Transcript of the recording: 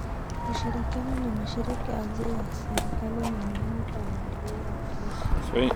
Ushirikiano na mashirika yasiyo ya kiserikali ni muhimu kwa maendeleo ya kilimo.